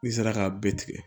N'i sera k'a bɛɛ tigɛ